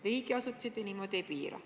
Riigiasutusi te niimoodi ei piira.